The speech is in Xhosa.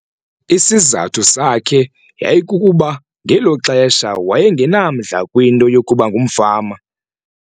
Isizathu sakhe yayikukuba ngelo xesha waye ngenamdla kwinto yokuba ngumfama.